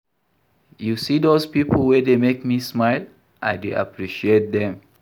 You see dose pipo wey dey make me smile, I dey appreciate dem.